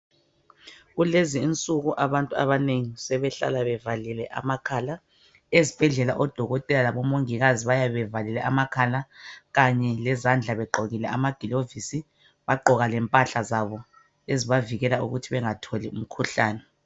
Kulezi insuku abantu abanengi sebehlala bevalile amakhala. Ezibhedlela odokotela labo mongikazi bayabe bevalile amakhala kanye lezandla begqokile amagilovisi bagqoka lempahla zabo ezibavikela ukuthi bangatholi umkhuhlane.